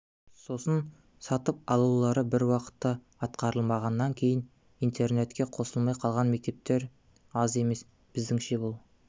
сосын сатып алулар бір уақытта атқарылмағаннан кейін интернетке қосылмай қалған мектептер аз емес біздіңше бұл